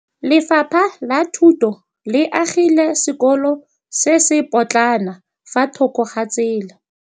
Lefapha la Thuto le agile sekôlô se se pôtlana fa thoko ga tsela.